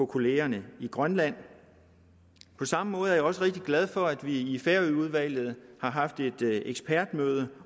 kollegaerne i grønland på samme måde er jeg også rigtig glad for at vi i færøudvalget har haft et ekspertmøde